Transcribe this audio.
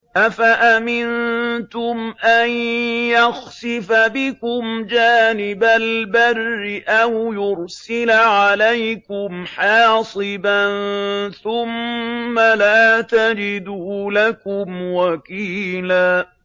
أَفَأَمِنتُمْ أَن يَخْسِفَ بِكُمْ جَانِبَ الْبَرِّ أَوْ يُرْسِلَ عَلَيْكُمْ حَاصِبًا ثُمَّ لَا تَجِدُوا لَكُمْ وَكِيلًا